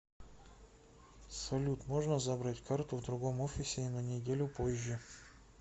салют можно забрать карту в другом офисе и на неделю позже